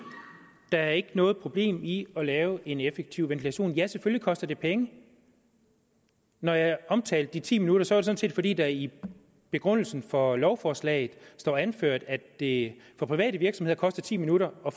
der er ikke noget problem i at lave en effektiv ventilation ja selvfølgelig koster det penge når jeg omtalte de ti minutter sådan set fordi der i begrundelsen for lovforslaget står anført at det for private virksomheder koster ti minutter og